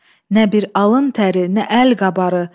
Nə bir alın təri, nə əl qabarı.